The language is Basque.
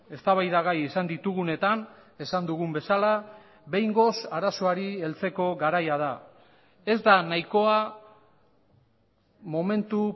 eztabaidagai izan ditugunetan esan dugun bezala behingoz arazoari heltzeko garaia da ez da nahikoa momentu